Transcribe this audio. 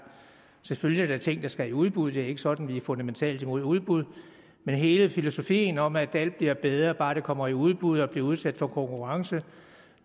selvfølgelig er der ting der skal i udbud det er ikke sådan at vi er fundamentalt imod udbud men hele filosofien om at alt bliver bedre bare det kommer i udbud og det bliver udsat for konkurrence